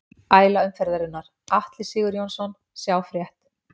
Æla umferðarinnar: Atli Sigurjónsson Sjá frétt